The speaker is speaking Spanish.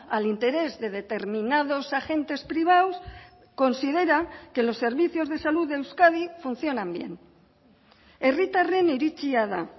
al interés de determinados agentes privados considera que los servicios de salud de euskadi funcionan bien herritarren iritzia da